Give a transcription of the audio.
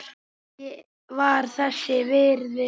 Ég var þess virði.